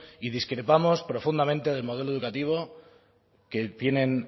y discrepamos profundamente del modelo educativo que tienen